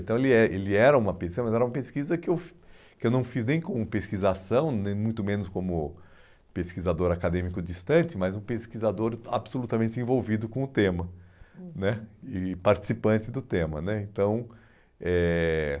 Então, ele é ele era uma pesquisa, mas era uma pesquisa que eu que eu não fiz nem como pesquisação, nem muito menos como pesquisador acadêmico distante, mas um pesquisador absolutamente envolvido com o tema, uhum, né e participante do tema né, então, eh...